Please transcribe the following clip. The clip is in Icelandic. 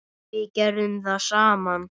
Við gerðum það saman.